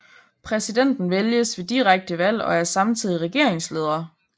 Præsidenten vælges ved direkte valg og er samtidig regeringsleder